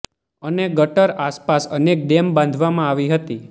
અને ગટર આસપાસ અનેક ડેમ બાંધવામાં આવી હતી